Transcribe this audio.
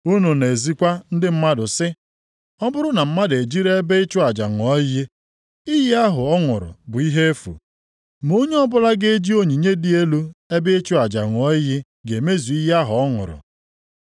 Unu na-ezikwa ndị mmadụ sị, ‘Ọ bụrụ na mmadụ ejiri ebe ịchụ aja ṅụọ iyi, iyi ahụ ọ ṅụrụ bụ ihe efu. Ma onye ọbụla ga-eji onyinye dị nʼelu ebe ịchụ aja ṅụọ iyi ga-emezu iyi ahụ ọ ṅụrụ.’